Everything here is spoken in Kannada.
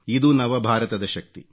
ಇದು ನವ ಭಾರತದ ಶಕ್ತಿ